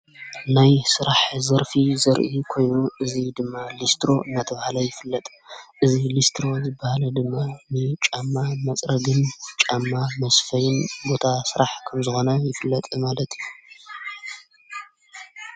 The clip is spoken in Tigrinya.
ናይ ሥራሕ ዘርፊ ዘርኢ ኮይ እዙ ድማ ሊስትሮ መተብሃላ ይፍለጥ እዝ ሊስትሮ ዝበሃለ ድማ ናይ ጫማ መጽረግን ጫማ መስፈይን ቦታ ሥራሕ ክንዝኾነ ይፍለጥ ማለት እዩ።